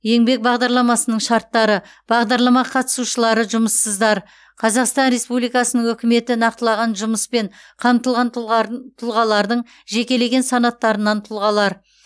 еңбек бағдарламасының шарттары бағдарлама қатысушылары жұмыссыздар қазақстан республикасының үкіметі нақтылаған жұмыспен қамтылған тұлғар тұлғалардың жекелеген санаттарынан тұлғалар